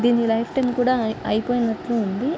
దీని life time కూడా అయి అయిపోయినట్లు ఉంది.